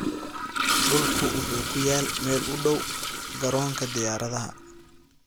Dhulku wuxuu ku yaal meel u dhow garoonka diyaaradaha.